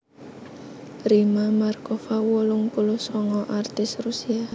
Rimma Markova wolung puluh sanga aktris Rusia